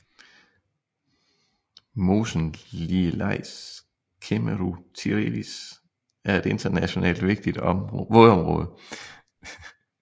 Mosen Lielais Ķemeru tīrelis er et internationalt vigtigt vådområde